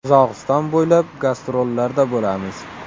Qozog‘iston bo‘ylab gastrollarda bo‘lamiz.